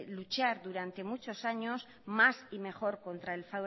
luchar durante muchos años más y mejor